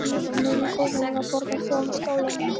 miðju gólfinu var borð með fjórum stólum.